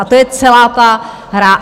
A to je celá ta hra.